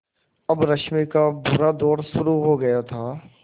अब रश्मि का बुरा दौर शुरू हो गया था